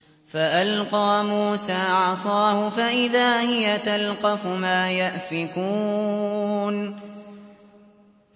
فَأَلْقَىٰ مُوسَىٰ عَصَاهُ فَإِذَا هِيَ تَلْقَفُ مَا يَأْفِكُونَ